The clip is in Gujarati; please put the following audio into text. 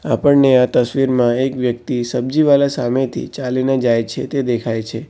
આપણને આ તસવીરમાં એક વ્યક્તિ સબ્જીવાલા સામેથી ચાલીને જાય છે તે દેખાય છે.